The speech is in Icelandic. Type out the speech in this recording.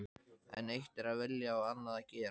En eitt er að vilja og annað að gera.